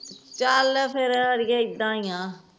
ਚਲ ਫਿਰ ਅਡੀਏ ਏਦਾ ਈ ਆ